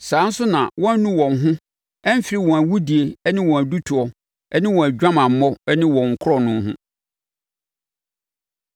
Saa ara nso na wɔannu wɔn ho amfiri wɔn awudie ne wɔn adutoɔ ne wɔn adwamammɔ ne wɔn korɔno ho.